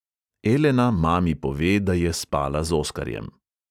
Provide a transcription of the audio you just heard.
Elena mami pove, da je spala z oskarjem.